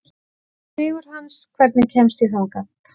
Sigurhans, hvernig kemst ég þangað?